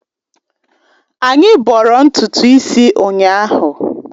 Anyị bọrọ ntutu isi ụnyahụ.